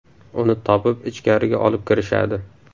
Uni topib ichkariga olib kirishadi.